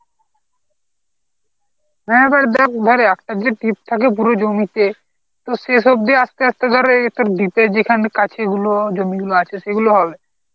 হ্যাঁ এবার দেখ এবারে একটা যে trip থাকে পুরো জমিতে তোর শেষ অব্দি আস্তে আস্তে ধর এই একটা deep এর যেখান কাছি গুলো জমিগুলো আছে সেইগুলো হবে